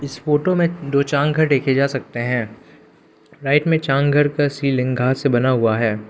इस फोटो में दो देखे जा सकते हैं राइट में का सीलिंग घास से बना हुआ है।